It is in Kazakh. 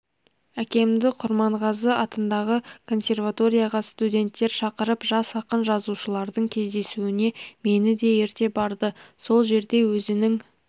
әкемді құрманғазы атындағы консерваторияға студенттер шақырып жас ақын-жазушылардың кездесуіне мені де ерте барды сол жерде өзінің